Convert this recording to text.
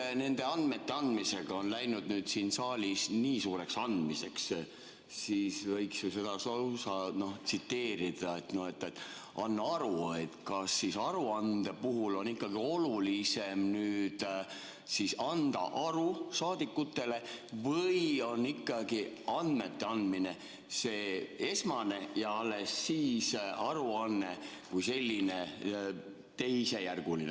Kui nende andmete andmisega on läinud nüüd siin saalis nii suureks andmiseks, siis võiks ju seda lausa tsiteerida, et anna aru, kas aruande puhul on olulisem anda aru saadikutele või on ikkagi andmete andmine see esmane ja alles siis aruanne kui selline teisejärguline.